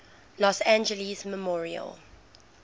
los angeles memorial